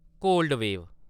cold - wave